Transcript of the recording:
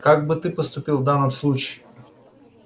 как бы та поступил в данном случае